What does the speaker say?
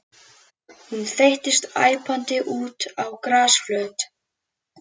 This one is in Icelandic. Hún þeyttist æpandi út á grasflöt.